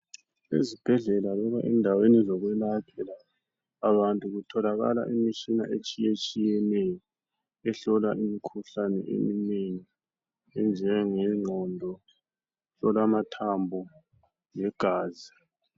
Ezibhendlela loba endaweni abantu kutholakala imitshina etshiyetshiyeneyo ehlola imikhuhlane eminengi enjengengqondo, ukuhlola mamthambo legazi.